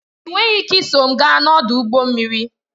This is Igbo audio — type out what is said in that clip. Ị nweghị ike iso m gaa n'ọdụ ụgbọ mmiri